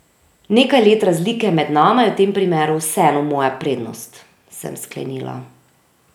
Nekaj let razlike med nama je v tem primeru vseeno moja prednost, sem sklenila.